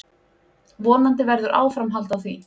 Vonandi verður áframhald á því.